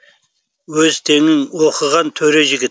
өз теңің оқыған төре жігіт